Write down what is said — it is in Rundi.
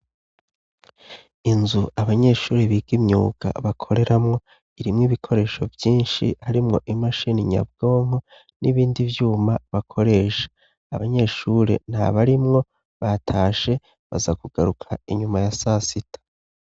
Inzu abanyeshuri biga imyuga bakoreramwo irimwo ibikoresho vyinshi harimwo imasheni nyabwonko n'ibindi vyuma bakoresha abanyeshuri nta barimwo batashe baza kugaruka inyuma ya sasita.